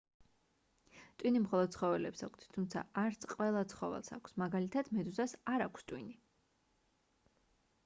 ტვინი მხოლოდ ცხოველებს აქვთ თუმცა არც ყველა ცხოველს აქვს; მაგალითად მედუზას არ აქვს ტვინი